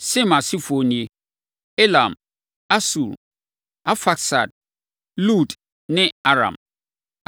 Sem asefoɔ nie: Elam, Asur, + 10.22 Asur yɛ Asiria tete din. Arfaksad, Lud ne Aram.